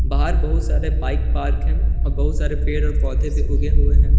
बाहर बहुत सारे बाइक पार्क है और बहुत सारे पेड़ और पौधे भी उगे हुए हैं।